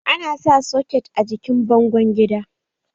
Ana sa soket a jikin bango gida